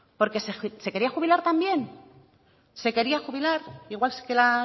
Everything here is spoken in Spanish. porque se quería jubilar también se quería jubilar igual que la